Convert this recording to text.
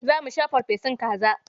Za mu sha farfesun kaza.